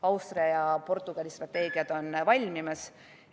Austria ja Portugali strateegia on valmimas.